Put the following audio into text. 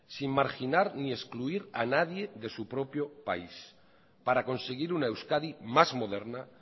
sin marginar ni excluir a nadie de su propio país para conseguir una euskadi más moderna